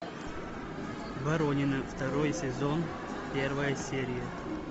воронины второй сезон первая серия